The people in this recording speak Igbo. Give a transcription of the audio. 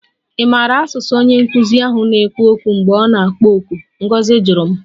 Ị maara asụsụ onye nkụzi ahụ na-ekwu okwu mgbe ọ na-akpọ oku? Ngozi jụrụ m